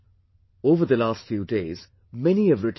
Over the last few days, many have written to me